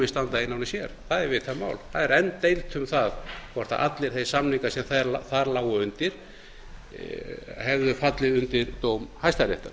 standa einan og sér það er vitað mál það er enn deilt um það hvort allir þeir samningar sem þar lágu undir hefðu fallið undir dóm hæstaréttar